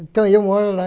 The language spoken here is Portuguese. Então eu moro lá.